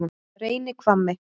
Reynihvammi